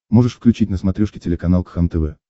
можешь включить на смотрешке телеканал кхлм тв